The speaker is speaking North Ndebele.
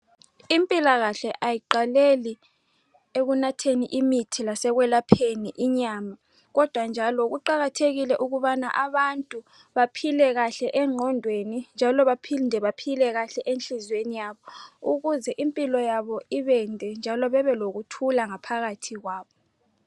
Impilakahle ayiqaleli ekunatheni imithi lasekwelapheni inyama kodwa njalo kuqakathekile ukubana abantu baphile kahle engqondweni njalo baphinde baphile kahle enhlizweni yabo ukuze impilo yabo ibende njalo bebelokuthula ngaphakathi kwabo.